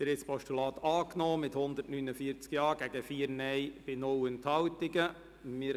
Sie haben das Postulat mit 149 Ja- gegen 4 Nein-Stimmen bei 0 Enthaltungen angenommen.